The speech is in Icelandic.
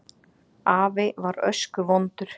Afi var öskuvondur.